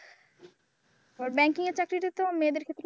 Banking চাকরিটা তো মেয়েদের ক্ষেত্রে।